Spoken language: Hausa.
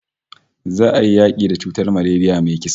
Za'a yi yaki da cutar malaria mai kisa